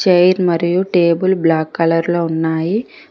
Chair మరియు table black colour లో ఉన్నాయి.